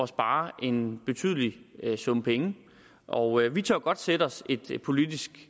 spare en betydelig sum penge og vi tør godt sætte os et politisk